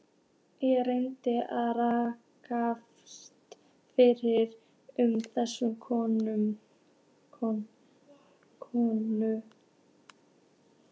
Ég reyndi að grafast fyrir um þessa konu.